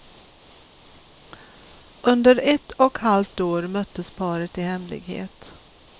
Under ett och halvt år möttes paret i hemlighet.